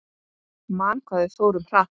Man hvað við fórum hratt.